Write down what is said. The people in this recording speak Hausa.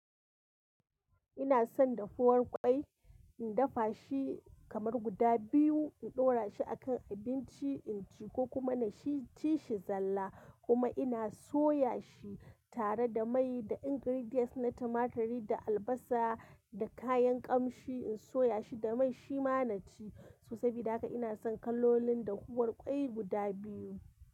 Ina son dafuwar kwai, in dafa shi kamar guda biyu, in ɗora shi a kan abinci, in ci ko kuma na ci shi zalla. Kuma ina soya shi tare da mai da ingredients na tumaturi da albasa da kayan kamshi. In soya shi da mai shi ma na ci. So sabo Da haka ina son kalolin dafuwar kwai guda biyu.